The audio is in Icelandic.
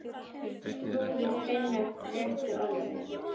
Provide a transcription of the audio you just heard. Þrúður finnur réttu orðin.